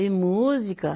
E música?